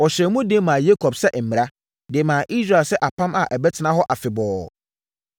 Ɔhyɛɛ mu den maa Yakob sɛ mmara, de maa Israel sɛ apam a ɛbɛtena hɔ afebɔɔ;